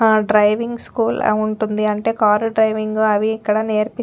ఆ driving school ఉంటుంది అంటే కార్ డ్రైవింగ్ అవి ఇక్కడ నేర్పి --